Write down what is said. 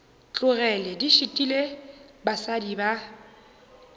tlogele di šitile basadi ba